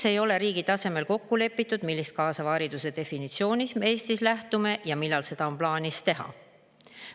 Miks ei ole riigi tasemel kokku lepitud, millisest kaasava hariduse definitsioonist me Eestis lähtume, ja millal on plaanis seda teha?